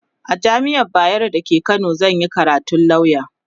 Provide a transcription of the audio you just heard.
a jamian bayero da ke Kano zanyi karatun lauya